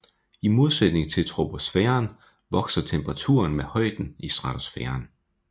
I modsætning til troposfæren vokser temperaturen med højden i stratosfæren